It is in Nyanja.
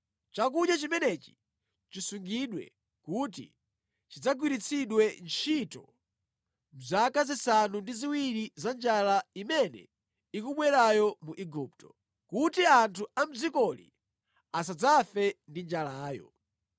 Chakudya chimenechi chisungidwe kuti chidzagwiritsidwe ntchito mʼzaka zisanu ndi ziwiri za njala imene ikubwerayo mu Igupto, kuti anthu a mʼdzikoli asadzafe ndi njalayo.”